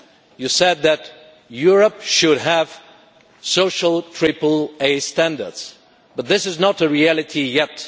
You said that Europe should have social triple-A standards, but this is not a reality yet.